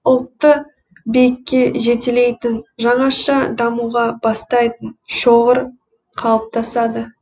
ұлтты биікке жетелейтін жаңаша дамуға бастайтын шоғыр қалыптасады